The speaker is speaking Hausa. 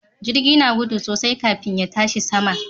Jirgi na gudu sosai kafin ya tashi sama.